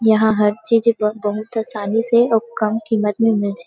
यहां हर चीज़ बहुत आसानी से और कम कीमत में मिल जाय --